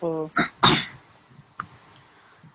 ஓ